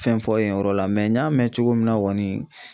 Fɛn fɔ yen yɔrɔ la n y'a mɛn cogo min na kɔni